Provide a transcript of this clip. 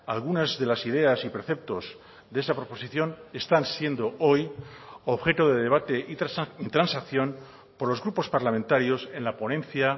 algunas de las ideas y preceptos de esa proposición están siendo hoy objeto de debate y transacción por los grupos parlamentarios en la ponencia